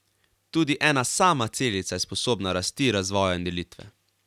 Tudi ena sama celica je sposobna rasti, razvoja in delitve.